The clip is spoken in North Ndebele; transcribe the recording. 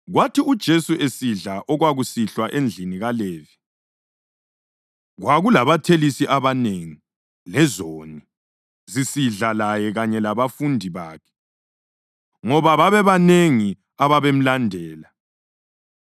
Kwathi uJesu esidla okwakusihlwa endlini kaLevi kwakulabathelisi abanengi “lezoni” zisidla laye kanye labafundi bakhe, ngoba babebanengi ababemlandela.